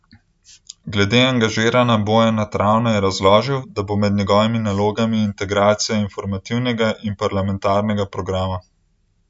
Glede angažiranja Bojana Travna je razložila, da bo med njegovimi nalogami integracija informativnega in parlamentarnega programa.